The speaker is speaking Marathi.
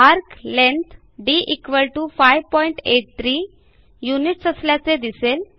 एआरसी लेंग्थ d583 युनिट्स असल्याचे दिसेल